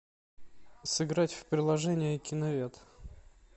сыграть в приложение киновед